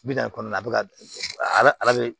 Bi naani kɔnɔna bɛ ka ala bɛ